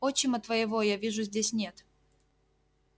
отчима твоего я вижу здесь нет